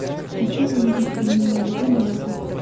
хочу увидеть фильм далеко далеко